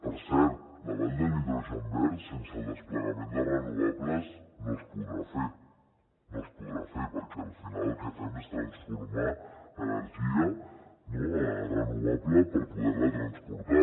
per cert la vall de l’hidrogen verd sense el desplegament de renovables no es podrà fer no es podrà fer perquè al final el que fem és transformar energia renovable per poder la transportar